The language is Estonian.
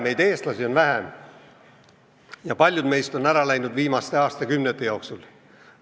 Meid, eestlasi, on vähe, ja paljud meist on siit ära läinud viimaste aastakümnete jooksul.